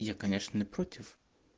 я конечно не против